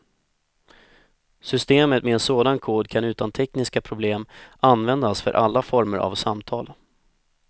Systemet med en sådan kod kan utan tekniska problem användas för alla former av samtal.